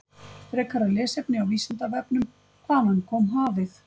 Frekara lesefni á Vísindavefnum: Hvaðan kom hafið?